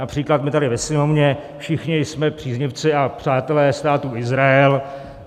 Například my tady ve Sněmovně všichni jsme příznivci a přátelé Státu Izrael.